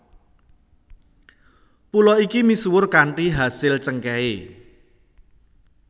Pulo iki misuwur kanthi asil cengkèhé